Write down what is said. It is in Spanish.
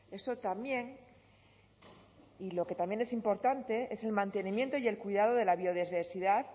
eso también y lo que también es importante es el mantenimiento y el cuidado de la biodiversidad